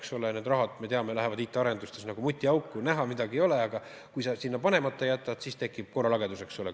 Me teame, et need rahad, IT-arenduste rahad lähevad nagu mutiauku: näha midagi ei ole, aga kui sa sinna raha panemata jätad, siis tekib korralagedus.